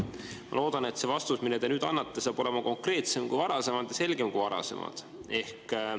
Ma loodan, et vastus, mille te nüüd annate, on konkreetsem kui varasem ja selgem kui varasem.